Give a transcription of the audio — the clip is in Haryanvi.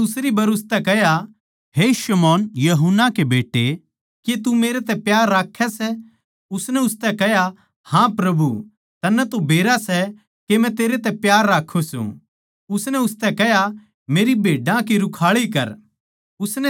उसनै दुसरी बर उसतै कह्या हे शमौन यूहन्ना के बेट्टे के तू मेरै तै प्यार राक्खै सै उसनै उसतै कह्या हाँ प्रभु तन्नै तो बेरा सै के मै तेरै तै प्यार राक्खु सूं उसनै उसतै कह्या मेरी भेड्डां की रूखाळी कर